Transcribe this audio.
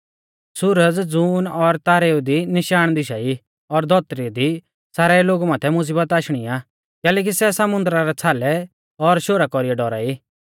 सुरज ज़ून और तारेऊ दी निशाण दिशा ई और धौतरी दी सारै लोगु माथै मुसीबत आशणी आ कैलैकि सै समुन्दरा रै छ़ालै और शोरा कौरीऐ डौराई